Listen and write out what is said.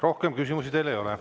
Rohkem küsimusi teile ei ole.